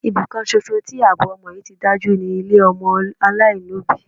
Ibi kan ṣoṣo tí àbọ̀ ọmọ yí ti dájú ni ilé ọmọ aláìlóbìí.